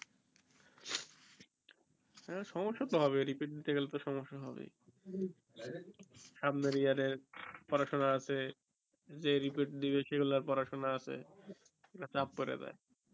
সমস্যা তো হবেই repeat দিতে গেলে তো সমস্যা হবেই সামনের year এর পড়াশোনা আছে যে repeat দিবে সে গুলার পড়াশোনা আছে চাপ পইরা যাই